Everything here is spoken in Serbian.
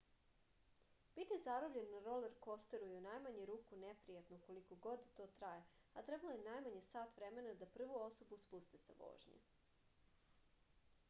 biti zarobljen na rolerkosteru je u najmanju ruku neprijatno koliko god da to traje a trebalo je najmanje sat vremena da prvu osobu spuste sa vožnje